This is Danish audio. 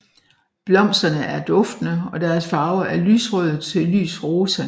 Blomsterne er duftende og deres farve er lysrød til lys rosa